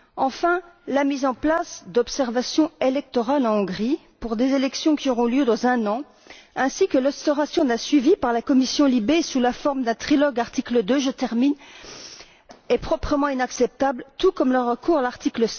Enfin, la mise en place d'observations électorales en Hongrie pour des élections qui auront lieu dans un an, ainsi que l'instauration d'un suivi par la commission LIBE, sous la forme d'un trilogue article 2, est proprement inacceptable, tout comme le recours à l'article